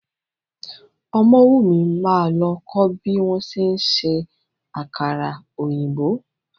Ọmọ́wùmí máa lọ kó bí wọ́n ṣe ń ṣe àkàrà òyìnbó.